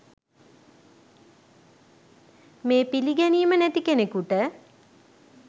මේ පිළිගැනීම නැති කෙනෙකුට